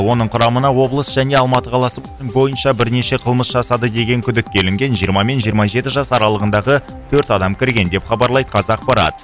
оның құрамына облыс және алматы қаласы бойынша бірнеше қылмыс жасады деген күдікке ілінген жиырма мен жиырма жеті жас аралығындағы төрт адам кірген деп хабарлайды қазақпарат